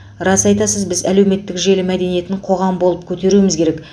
рас айтасыз біз әлеуметтік желі мәдениетін қоғам болып көтеруіміз керек